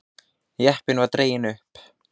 Jeppinn var dreginn upp.